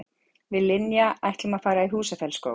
Við Linja ætlum að fara í Húsafellsskóg.